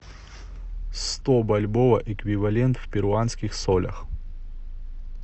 сто бальбоа эквивалент в перуанских солях